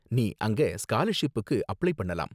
நீ அங்க ஸ்காலர்ஷிப்புக்கு அப்ளை பண்ணலாம்.